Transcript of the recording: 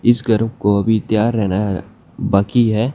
इसका रूफ को अभी तैयार होना बाकी हैं।